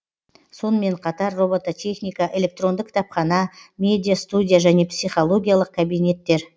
сонымен қатар робототехника электронды кітапхана медиа студия және психологиялық кабинеттер